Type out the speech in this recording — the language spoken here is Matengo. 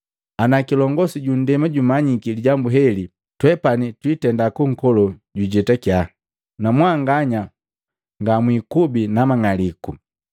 Ana kilongosi ju ndema jumanyiki lijambu heli, twepani twiitenda kunkolo jujetakia, namwanganya ngamwikubi namang'aliku.”